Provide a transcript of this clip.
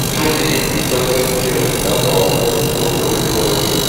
kí ni ìtọ́jú tí ẹ lè dábàá fún kókó inú orí?